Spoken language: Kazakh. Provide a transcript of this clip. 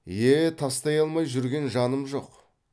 е тастай алмай жүрген жаным жоқ